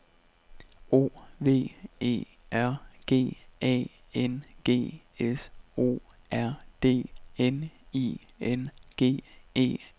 O V E R G A N G S O R D N I N G E N